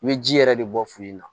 I bɛ ji yɛrɛ de bɔ fini in na